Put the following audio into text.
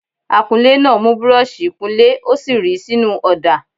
Akunlé náà mù búrọ́ọ̀ṣì -ìkunlé ó sì ríi sínú ọ̀dà.